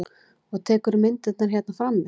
Og tekurðu myndirnar hérna frammi?